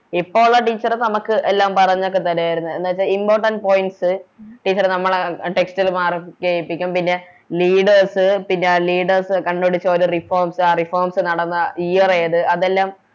ഇപ്പൊ ഒള്ള Teacher നമുക്ക് എല്ലാം പറഞ്ഞൊക്കെ തരുവാരുന്ന് എന്ന് വെച്ച Importants points നമ്മളെ Text ല് Mark ചെയ്യിപ്പിക്കും പിന്നെ Leaders പിന്നെ Leaders കണ്ട്‌ പിടിച്ച ഓരോ Reforms ആ Reforms നടന്ന Year ഏത് അതെല്ലാം